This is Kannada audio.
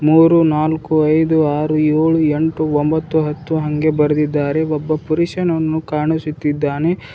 ಮೂರು ನಾಲ್ಕು ಐದು ಆರು ಏಳು ಎಂಟು ಒಂಬತ್ತು ಹತ್ತು ಹಂಗೆ ಬರದಿದ್ದಾರೆ ಒಬ್ಬ ಪುರುಷನನ್ನು ಕಾಣುಸುತ್ತಿದ್ದಾನೆ.